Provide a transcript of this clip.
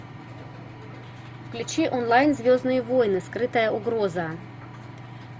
включи онлайн звездные войны скрытая угроза